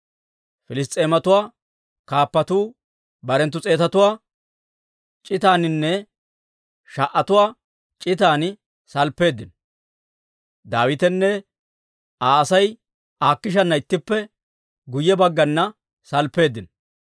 Piliss's'eematuwaa kaappatuu barenttu s'eetatuwaa c'itaaninne sha"atuwaa c'itan salppeeddino; Daawitenne Aa Asay Akiishaara ittippe guyye baggana salppeeddino.